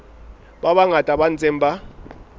ba bangata ba ntseng ba